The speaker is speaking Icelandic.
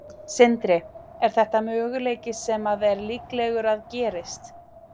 Sindri: Er þetta möguleiki sem að er líklegur að gerist?